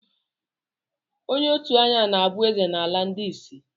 Onye òtù anya na-abụ ezé n'ala ndị ịsị.